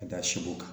Ka da si ko kan